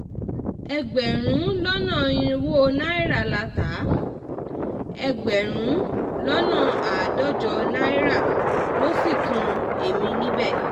um ẹgbẹ̀rún lọ́nà irínwó náírà la ta á ẹgbẹ̀rún lọ́nà àádọ́jọ náírà ló sì kan èmi um níbẹ̀